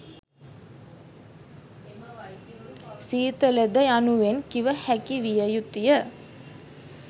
සීතලද යනුවෙන් කිව හැකි විය යුතුය.